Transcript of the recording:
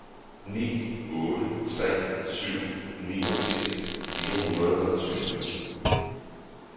ni otte tre syv niogfirs fire hundrede og tyve